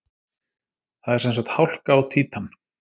Það er sem sagt hálka á Títan!